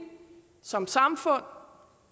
som samfund